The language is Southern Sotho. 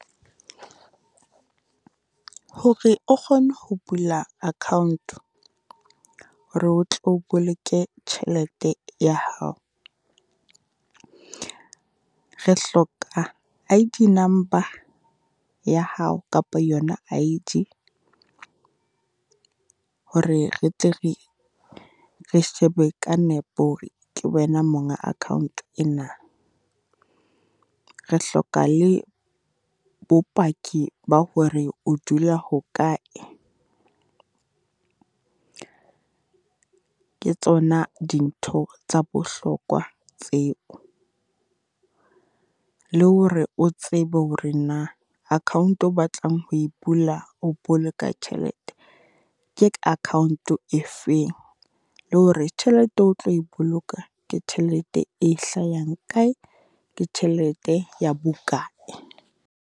Hore o kgone ho bula account-o, hore o tlo boloke tjhelete ya hao, re hloka I_D number ya hao kapa yona I_D, hore re tle re re shebe ka nepo hore ke wena monga account-o ena, re hloka le bopaki ba hore o dula hokae. Ke tsona dintho tsa bohlokwa tseo, le hore o tsebe hore na account-o o batlang ho e bula o boloka tjhelete, ke account-o e feng? Le hore tjhelete o tlo e boloka, ke tjhelete e hlayang kae, ke tjhelete ya bokae?